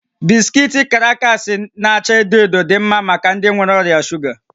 Bisikiiti krakas nke n'acha edo edo dị mma maka ndị nwere ọrịa shuga